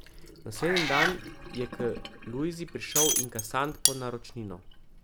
Naslednji dan je k Lujzi prišel inkasant po naročnino.